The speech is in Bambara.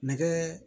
Nɛgɛ